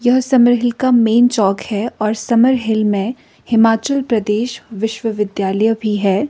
यह Summer Hill का main चौक है और समर हील में हिमाचल प्रदेश विश्वविद्यालय भी है।